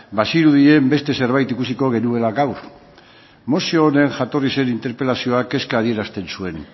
bazirudien beste zerbait ikusiko genuela gaur mozio honen jatorri zen interpelazioak kezka adierazten zuen